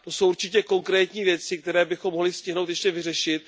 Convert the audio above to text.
To jsou určitě konkrétní věci, které bychom mohli stihnout ještě vyřešit.